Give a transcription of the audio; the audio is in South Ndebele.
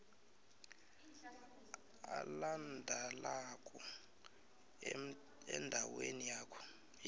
alandelako endaweni yawo